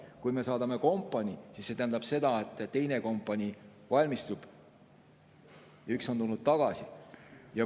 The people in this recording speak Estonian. Kui me saadame kompanii, siis see tähendab, et teine kompanii valmistub ja üks on tulnud tagasi.